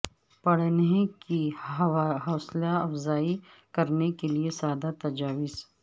پڑھنے کی حوصلہ افزائی کرنے کے لئے سادہ تجاویز